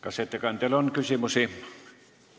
Kas ettekandjale on küsimusi?